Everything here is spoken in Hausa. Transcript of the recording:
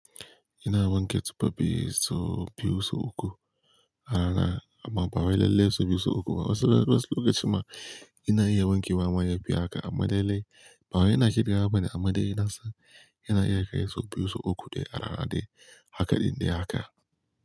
Ina wanke tufa so biyu sau uku, arana, amma ba wai lalle so biyu sau uku ba. Wasu lokacin ma ina iya wanke wa ma yafi haka amma de lalle, ba wa ina cirewa ba ne amma dai nasan ina iya kai so biyu sau uku dai arana dai haka din dai haka.